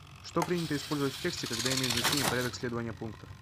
что принято использовать в тексте когда имеет значение порядок следования пунктов